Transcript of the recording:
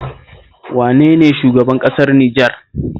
Wane ne shugaban ƙasar Nijar?